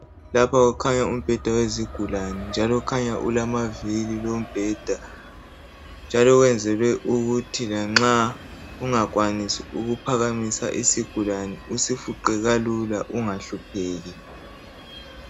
Lapha kukhanya umbheda wezigulani. Njalo khanya ulamaviri lombheda. Njalo wenzelwe ukuthi lanxa ungakwanisi ukuphakamisa isigulani usifuqe kalula ungahlupheki.